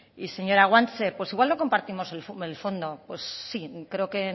y señora guanche pues igual no compartimos el fondo pues sí creo que